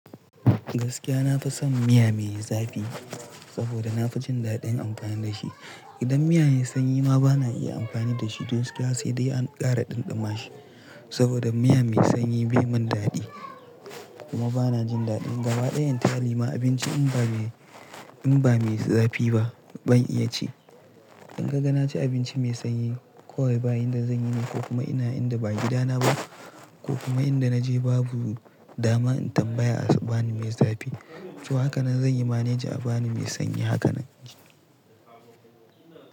Gaskiya nafi son miya me zafi saboda nafi jin daɗin amfani da shi. Idan miya ya yi sanyi ma bana iya amfani da shi, duk suka sai dai an ƙara ɗumama shi. Saboda miya mai sanyi bai mun daɗi kuma bana jin daɗin. Gaba ɗayan tali ma abinci in ba in ba me zafi ba ban iya ci. In kaga na ci abinci mai sanyi kawai bayan da zanyi ne ko kuma ina inda ba gida na ba ko kuma inda naje babu dama in tambaya a bani mai zafi. To hakanan zanyi manage a bani mai sanyi hakanan.